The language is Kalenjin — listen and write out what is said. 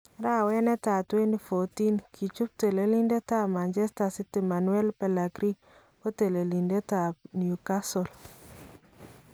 Arawet netai 2014 , kichuup teleliindetab Manchester city Manuel Pellegrini ko telelindetab Newcastle